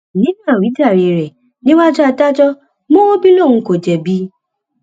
nínú àwíjàre rẹ níwájú adájọ mọwọbí lòun kò jẹbi